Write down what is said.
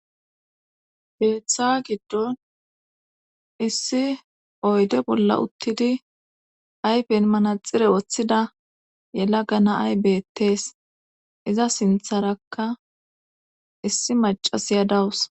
beeththa giddon issi oyde bolla uttidi ayfeen manaxire woththida yela gana ay beettees iza sintharakka issi macasiyadawus